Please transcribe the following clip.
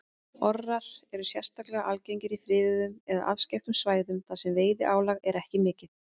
Orrar eru sérstaklega algengir á friðuðum eða afskekktum svæðum þar sem veiðiálag er ekki mikið.